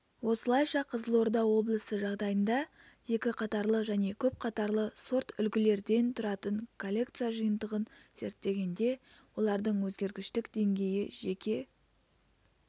осылайша қызылорда облысы жағдайында екі қатарлы және көп қатарлы сорт-үлгілерден тұратын коллекция жиынтығын зерттегенде олардың өзгергіштік деңгейі жеке